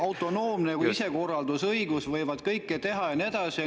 … autonoomne isekorraldusõigus, nad võivad kõike teha ja nii edasi.